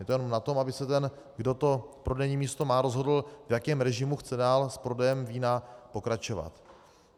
Je to jenom na tom, aby se ten, kdo to prodejní místo má, rozhodl, v jakém režimu chce dál s prodejem vína pokračovat.